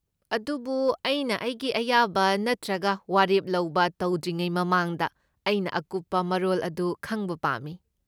ꯑꯗꯨꯕꯨ ꯑꯩꯅ ꯑꯩꯒꯤ ꯑꯌꯥꯕ ꯅꯠꯇ꯭ꯔꯒ ꯋꯥꯔꯦꯞ ꯂꯧꯕ ꯇꯧꯗ꯭ꯔꯤꯉꯩ ꯃꯃꯥꯡꯗ, ꯑꯩꯅ ꯑꯀꯨꯞꯄ ꯃꯔꯣꯜ ꯑꯗꯨ ꯈꯪꯕ ꯄꯥꯝꯃꯤ ꯫